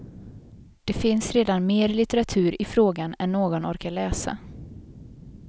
Det finns redan mer litteratur i frågan än någon orkar läsa.